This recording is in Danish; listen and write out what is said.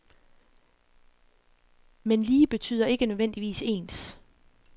Men lige betyder ikke nødvendigvis ens.